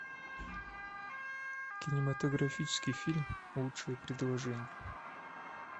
кинематографический фильм лучшее предложение